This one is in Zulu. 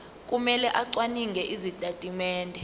kumele acwaninge izitatimende